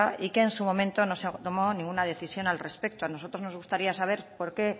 y que en su momento no se ha tomado ninguna decisión al respecto a nosotros nos gustaría saber por qué